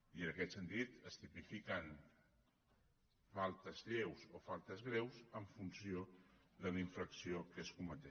i en aquest sentit es tipifiquen faltes lleus o faltes greus en funció de la infracció que es cometi